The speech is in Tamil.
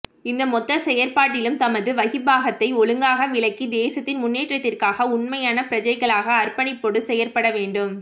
இந்த மொத்த செயற்பாட்டிலும் தமது வகிபாகத்தை ஒழுங்காக விளங்கி தேசத்தின் முன்னேற்றத்திற்காக உண்மையான பிரஜைகளாக அர்ப்பணிப்புடன் செயற்படவேண்டும்